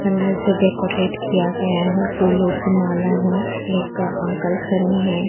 Colour से decorate किया गया है फूलों की माला है एक अंकल खड़े हैं।